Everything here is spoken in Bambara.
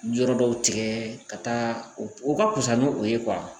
Yɔrɔ dɔw tigɛ ka taa o ka fisa ni o ye